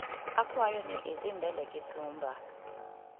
akwayo ni idhi mbele gi thumba